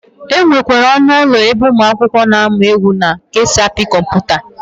E nwekwara ọnụ ụlọ ebe ụmụakwụkwọ na-amụ egwu na ka esi apị kọmputa.